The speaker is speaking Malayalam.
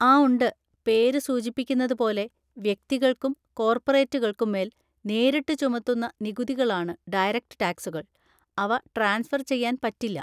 ആ ഉണ്ട്, പേര് സൂചിപ്പിക്കുന്നത് പോലെ വ്യക്തികൾക്കും കോർപറേറ്റുകൾക്കും മേൽ നേരിട്ട് ചുമത്തുന്ന നികുതികളാണ് ഡയറക്റ്റ് ടാക്‌സുകൾ, അവ ട്രാൻസ്ഫർ ചെയ്യാൻ പറ്റില്ല.